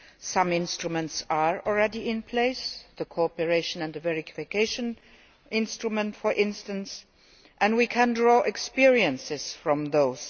Some instruments are already in place, the cooperation and verification instrument for instance, and we can draw experiences from those.